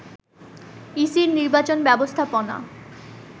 ইসির নির্বাচন ব্যবস্থাপনা